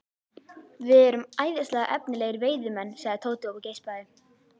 Við erum æðislega efnilegir veiðimenn sagði Tóti og geispaði.